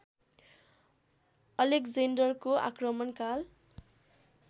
अलेक्जेन्डरको आक्रमणकाल